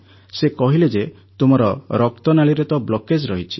ସେ କହିଲେ ଯେ ତୁମର ହାର୍ଟରେ ତ ବ୍ଲକେଜ୍ ରହିଛି